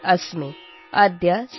माध्यमे आर्